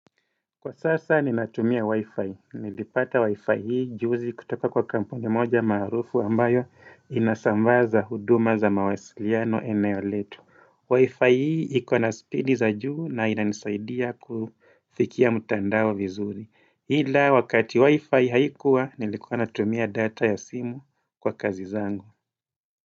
Kwa sasa ninatumia wi-fi. Nilipata wi-fi hii juzi kutoka kwa kampuni moja marufu ambayo inasambaza huduma za mawasiliano eneo letu. Wi-fi hii ikuana speedi za juu na inanisaidia kufikia mutandao vizuri. Hila wakati wi-fi haikuwa nilikuwa anatumia data ya simu kwa kazi zangu.